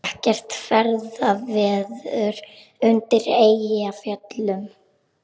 Ekkert ferðaveður undir Eyjafjöllum